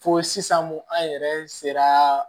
Fo sisan ko an yɛrɛ sera